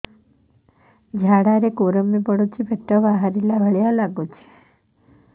ଝାଡା ରେ କୁର୍ମି ପଡୁଛି ପେଟ ବାହାରିଲା ଭଳିଆ ଲାଗୁଚି